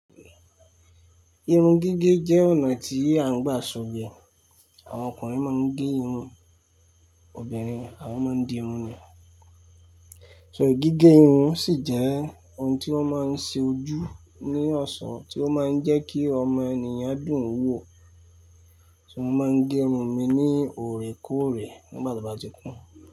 Irun gígé jẹ́ ọ̀nà tí a ń gbà sọ̀gbẹ́. Àwọn ọkùnrin máa ń gé irun, obìnrin àwọn máa ń di irun ni. Ṣé gígé irun sì jẹ́ ohun tí wọ́n máa ń ṣe ojú ní ọ̀ṣọ́, tí ó máa ń jẹ́ kí ọmọ ènìyàn dùn wò. Ṣé mo máa ń gé irun mi ní òrèkóòrè nígbà tó bá ti kún?